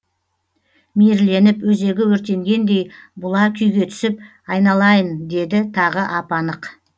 мейірленіп өзегі өртенгендей бұла күйге түсіп айналайын деді тағы ап анық